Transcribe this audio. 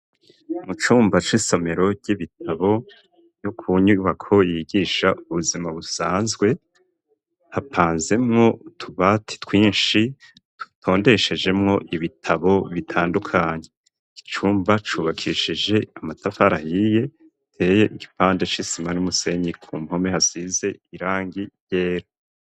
Mu cumba c'isomero ry'ibitabo yo kunyubako yigisha ubuzima busanzwe, hapanzemwo utubati twinshi dutondeshejemwo ibitabo bitandukanye. Icumba cubakishije amatafari ahiye, giteye igipande c'isima n'umusenyi, ku mpome hasize irangi ryera.